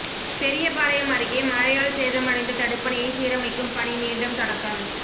பெரியபாளையம் அருகே மழையால் சேதமடைந்த தடுப்பணையை சீரமைக்கும் பணி மீண்டும் தொடக்கம்